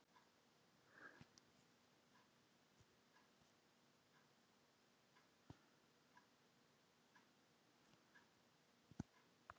Heimir: Ekki umfelgað, kannski?